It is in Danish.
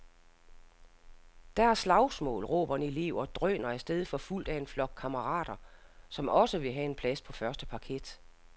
Der er slagsmål, råber en elev og drøner af sted forfulgt af en flok kammerater, som også vil have en plads på første parket.